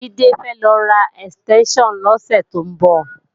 Jídé fẹ́ lọ ra ẹ̀stẹ́ńṣàn lọ́sẹ̀ tó ń bọ̀